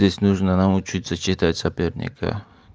здесь нужно научиться читать соперника